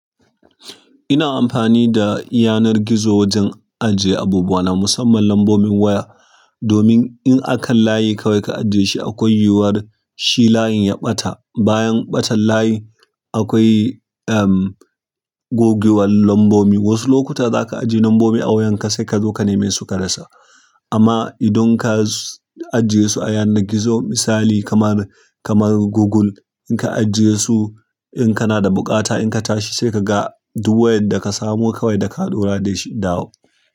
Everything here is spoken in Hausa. Ina amfani da yanar gizo wajen ajiye abubuwa na musamman lambobin waya, domin in akan layi kawai ka ajiye shi akwai yiwuwar shi layin ya ɓata. Bayan ɓatan layi akwai, ehm, gu ge war lambobi. Wasu lokuta zaka ajiye lambobi a wayanka sai kazo ka nemi suka rasa. Amma idan ka ajiyesu a yanar gizo misali kamar, kamar Google, in ka ajiyesu in kana da buƙata in ka tashi sai kaga duk wanya da ka samo kawai da ka ɗora dai shi dawo.